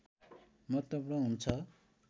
महत्त्वपूर्ण हुन्छ